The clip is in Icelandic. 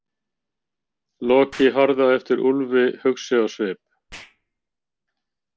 Loki horfði á eftir Úlfi hugsi á svip.